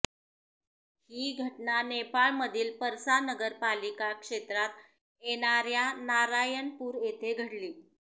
ही घटना नेपाळमधील पर्सा नगर पालिका क्षेत्रात येणार्या नारायणपूर येथे घडली